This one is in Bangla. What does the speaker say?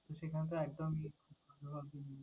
সেখান তো একদম hit ।